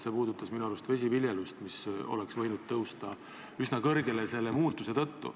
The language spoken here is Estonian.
See puudutas minu arust vesiviljelust, seal oleks võinud see tõusta üsna kõrgele selle muudatuse tõttu.